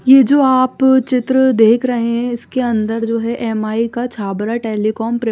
ये जो आप चित्र देख रहे हैं इसके अंदर जो है एम आई का टलीकॉम --